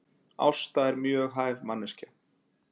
Ásta er mjög hæf manneskja